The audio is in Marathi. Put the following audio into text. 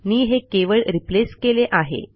मी हे केवळ रिप्लेस केले आहे